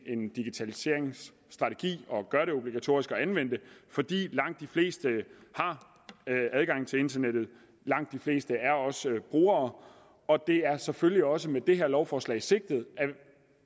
en digitaliseringsstrategi og gøre det obligatorisk at anvende det fordi langt de fleste har adgang til internettet og langt de fleste også er brugere det er selvfølgelig også med det her lovforslag sikret